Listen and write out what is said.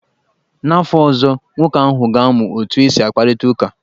N'afọ ọzọ, nwoke ahụ ga-amụ otu esi akparịta ụka.